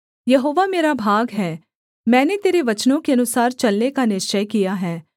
यहोवा मेरा भाग है मैंने तेरे वचनों के अनुसार चलने का निश्चय किया है